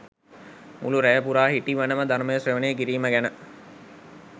මුළු රැය පුරා හිටිවනම ධර්මය ශ්‍රවණය කිරීම ගැන